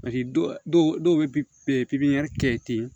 dɔw bɛ pipiɲɛri kɛ ten